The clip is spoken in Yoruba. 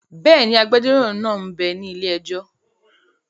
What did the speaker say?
Bẹ́ẹ̀ni, agbẹjọ́rò náà m bẹ ní ilé-ẹjọ́